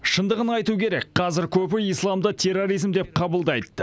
шындығын айту керек қазір көбі исламды терроризм деп қабылдайды